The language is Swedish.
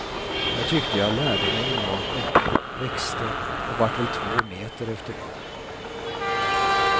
Jag tyckte jag lärde mig enormt mycket, växte och vart väl två meter efter det.